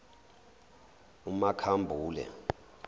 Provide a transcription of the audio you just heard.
umakhambule